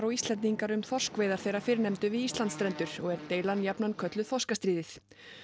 Íslendingar um þorskveiðar þeirra fyrrnefndu við Íslandsstrendur og er deilan jafnan kölluð þorskastríðið